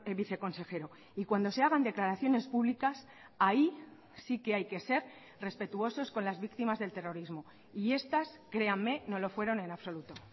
viceconsejero y cuando se hagan declaraciones públicas ahí sí que hay que ser respetuosos con las víctimas del terrorismo y estas créanme no lo fueron en absoluto